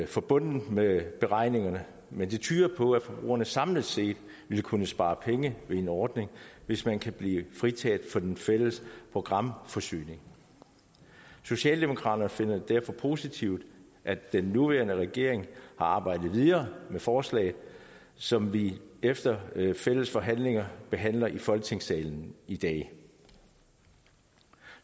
forbundet med beregningerne men det tyder på at forbrugerne samlet set vil kunne spare penge ved en ordning hvis man kan blive fritaget for den fælles programforsyning socialdemokraterne finder det derfor positivt at den nuværende regering har arbejdet videre med forslaget som vi efter fælles forhandlinger behandler i folketingssalen i dag